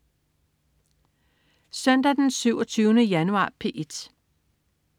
Søndag den 27. januar - P1: